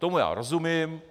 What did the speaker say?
Tomu já rozumím.